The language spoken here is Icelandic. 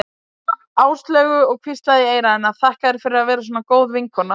Áslaugu og hvíslaði í eyra hennar: Þakka þér fyrir að vera svona góð vinkona